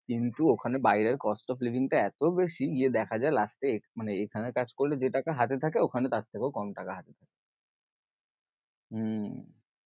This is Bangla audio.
কিন্তু ওখানে বাইরের cost of living টা এত বেশি, গিয়ে দেখা যায়ে last এ মানে এখানে কাজ করলে যেটা হাতে থাকে ওখানে তার থেকেও কম টাকা হাতে হম